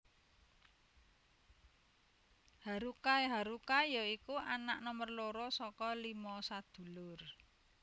Haruka haruka ya iku anak nomer loro saka limo sadulur